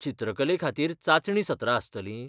चित्रकले खातीर चांचणी सत्रां आसतलीं?